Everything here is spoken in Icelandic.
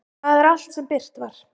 Það er allt sem birt var.